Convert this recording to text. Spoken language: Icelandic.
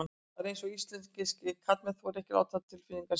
Það er eins og íslenskir karlmenn þori ekki að láta tilfinningar sínar í ljós.